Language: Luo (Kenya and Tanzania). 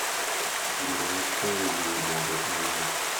Goro wach konyo e jiwo dongruok maber